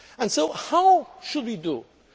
So how should we